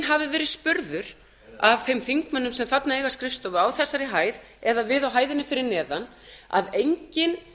hafi verið spurður af þeim þingmönnum sem þarna eiga skrifstofu á þessari hæð eða við á hæðinni fyrir neðan að enginn